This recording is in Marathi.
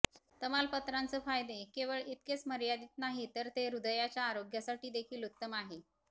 तमालपत्रांचं फायदे केवळ इतकेच मर्यादित नाहीत तर हे हृदयाच्या आरोग्यासाठी देखील उत्तम आहे